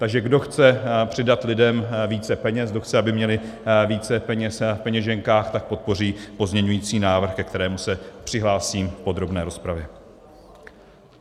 Takže kdo chce přidat lidem více peněz, kdo chce, aby měli více peněz v peněženkách, tak podpoří pozměňovací návrh, ke kterému se přihlásím v podrobné rozpravě.